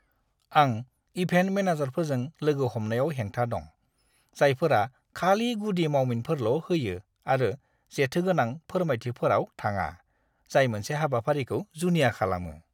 आं इभेन्ट मेनेजारफोरजों लोगो हमनायाव हेंथा दं, जायफोरा खालि गुदि मावमिनफोरल' होयो आरो जेथोगोनां फोरमायथिफोराव थाङा जाय मोनसे हाबाफारिखौ जुनिया खालामो।